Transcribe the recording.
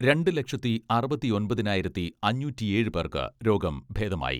രണ്ട് ലക്ഷത്തി അറുപത്തിയൊമ്പതിനായിരത്തി അഞ്ഞൂറ്റിയേഴ് പേർക്ക് രോഗം ഭേദമായി.